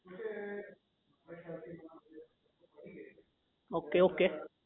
okay okay